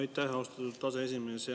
Aitäh, austatud aseesimees!